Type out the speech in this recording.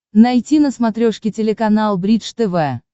найти на смотрешке телеканал бридж тв